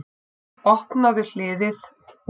Opnaðu hliðið.